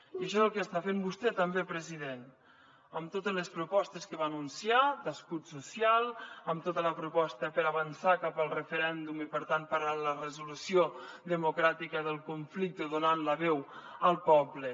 i això és el que està fent vostè també president amb totes les propostes que va anunciar d’escut social amb tota la proposta per avançar cap al referèndum i per tant per a la resolució democràtica del conflicte donant la veu al poble